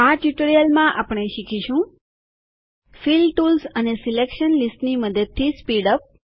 આ ટ્યુટોરીયલમાં આપણે શીખીશું ફિલ ટુલ્સ અને સિલેકશન લીસ્ટની મદદથી સ્પીડ અપ